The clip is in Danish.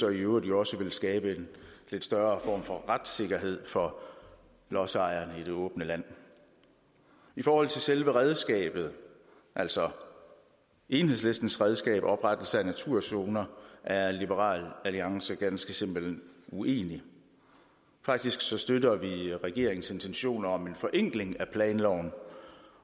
øvrigt også vil skabe en lidt større form for retssikkerhed for lodsejeren i det åbne land i forhold til selve redskabet altså enhedslistens redskab nemlig oprettelse af naturzoner er liberal alliance simpelt hen uenig faktisk støtter vi regeringens intentioner om en forenkling af planloven